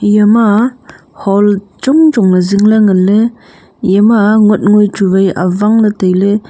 eya ma hall chong chong ley zing ley ngan ley eya ma ngotngoi chu vai avang ley tailey.